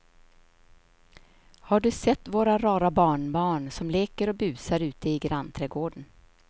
Har du sett våra rara barnbarn som leker och busar ute i grannträdgården!